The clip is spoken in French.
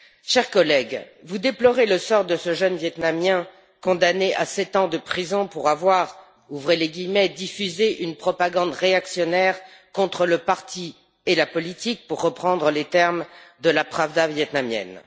Chers collègues, vous déplorez le sort de ce jeune vietnamien condamné à sept ans de prison pour avoir diffusé une propagande réactionnaire contre le parti et la politique, pour reprendre les termes de la Pravda vietnamienne.